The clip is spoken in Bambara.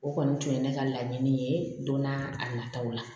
O kɔni tun ye ne ka laɲini ye don na a nataw la